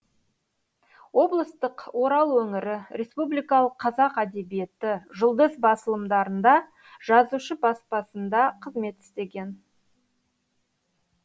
облыстық орал өңірі республикалық қазақ әдебиеті жұлдыз басылымдарында жазушы баспасында қызмет істеген